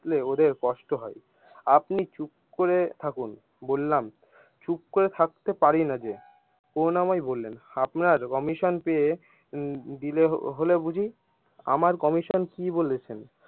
ওদের কষ্ট হয় আপনি চুপ করে থাকুন, বললাম চুপ করে থাকতে পারি না যে রুনা করুণাময়ী বললেন আপনার commission পেয়ে দিলে হলে বুজি আমার commission কি বলেছেন।